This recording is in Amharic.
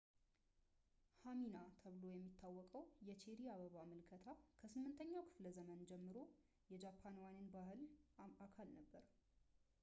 ሃናሚ ተብሎ የሚታወቀው የቼሪ አበባ ምልከታ ከ8ኛው ክፍለዘመን ጀምሮ የጃፓናውያን ባህል አካል ነበር